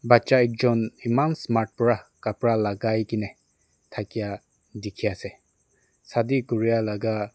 bacha ekjun eman smart para kapra lagai gina thakia dikhi ase shadi kuria laga--